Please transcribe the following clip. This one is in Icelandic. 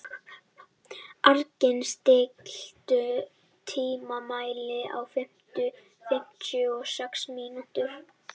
Árgils, stilltu tímamælinn á fimmtíu og sex mínútur.